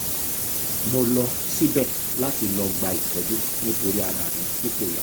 mo lọ síbẹ̀ láti lọ́ọ́ gba ìtọ́jú nítorí ara mi tí kò yá